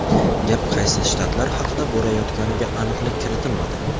Gap qaysi shtatlar haqida borayotganiga aniqlik kiritilmadi.